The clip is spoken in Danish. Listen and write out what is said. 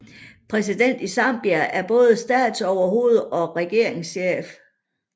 Præsidenten i Zambia er både statsoverhoved og regeringschef